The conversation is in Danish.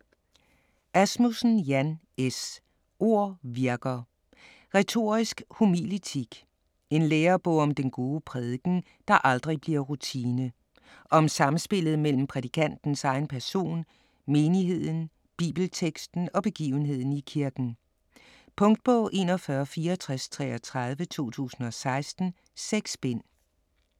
Asmussen, Jan S.: Ord virker: retorisk homiletik En lærebog om den gode prædiken, der aldrig bliver rutine. Om samspillet mellem prædikantens egen person, menigheden, bibelteksten og begivenheden i kirken. Punktbog 416433 2016. 6 bind.